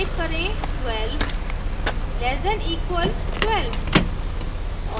type करें 12 less than equal 12